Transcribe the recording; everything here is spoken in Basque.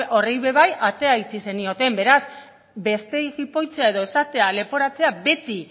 horri ere bai atea itxi zenioten beraz besteei jipoitzea edo esatea leporatzea beti